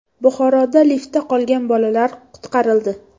Buxoroda liftda qolgan bolalar qutqarildi.